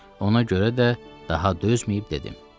Ona görə də daha dözməyib dedi: